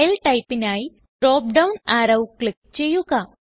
file typeനായി drop down arrow click ചെയ്യുക